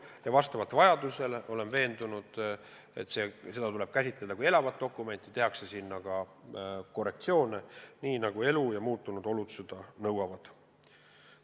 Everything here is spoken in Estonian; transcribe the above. Ja vastavalt vajadusele – olen veendunud, et seda tuleb käsitada kui elavat dokumenti – tehakse sinna ka korrektsioone, nii nagu elu ja muutunud olud seda nõuavad.